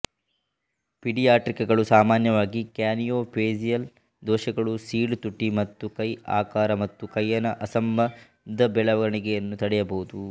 ಪಿಡಿಯಾಟ್ರಿಕಗಳು ಸಾಮಾನ್ಯವಾಗಿ ಕ್ರ್ಯಾನಿಯೊಫೇಸಿಯಲ್ ದೋಷಗಳುಸೀಳು ತುಟಿ ಮತ್ತು ಕೈ ಆಕಾರ ಮತ್ತು ಕೈಯನ ಅಸಂಬಂಧ ಬೆಳವಣಿಗೆಯನ್ನು ತಡೆಯಬಹುದು